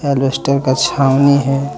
Plaster का छावनी है।